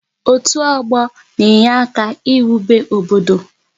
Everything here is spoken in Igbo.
Otu ọgbọ na-enyere aka n'iwube obodo